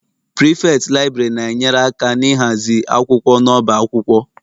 Prefect Library na-enyere aka n'ịhazi akwụkwọ n'ọbá akwụkwọ.